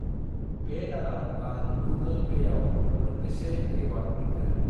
बे दानाव आं गुगोल पेआव मोनबेसे रिवार्ड मोनखो?